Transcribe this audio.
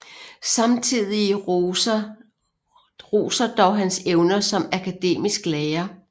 Samtidige roser dog hans evner som akademisk lærer